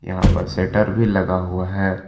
यहां पर शटर भी लगा हुआ है।